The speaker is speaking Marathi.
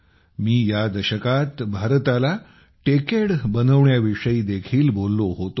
मी या दशकात भारताला टेकेड बनविण्याविषयी देखील बोललो होतो